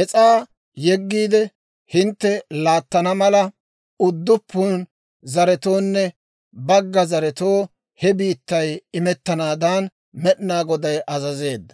«Es's'aa yeggiide, hintte laattana mala, udduppun zaretoonne bagga zaretoo he biittay imettanaadan Med'inaa Goday azazeedda.